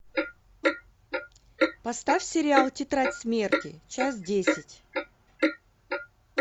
поставь сериал тетрадь смерти часть десять